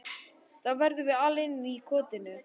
Þá verðum við alein í kotinu.